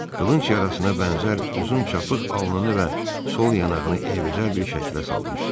Qılınc yarasına bənzər uzun çapıq alnını və sol yanağını eybəcər bir şəkilə salmışdı.